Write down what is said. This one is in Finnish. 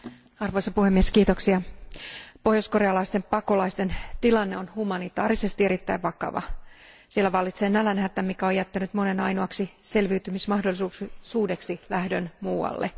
Arvoisa puhemies, pohjoiskorealaisten pakolaisten tilanne on humanitaarisesti erittäin vakava. Siellä vallitsee nälänhätä, mikä on jättänyt monen ainoaksi selviytymismahdollisuudeksi lähdön muualle.